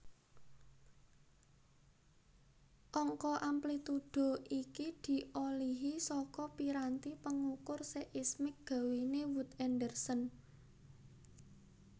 Angka amplitudo iki diolihi saka piranti pengukur seismik gawéne Wood Anderson